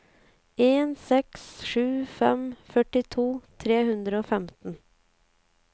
en seks sju fem førtito tre hundre og femten